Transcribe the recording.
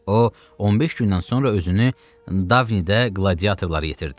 O, 15 gündən sonra özünü Davnidə qladiatorlara yetirdi.